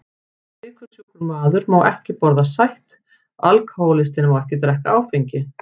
Sykursjúkur maður má ekki borða sætt, alkohólistinn má ekki drekka áfengi.